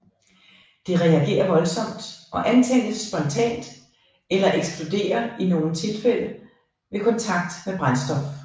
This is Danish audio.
Det reagerer voldsomt og antændes spontant eller eksploderer i nogle tilfælde ved kontakt med brændstof